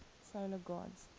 solar gods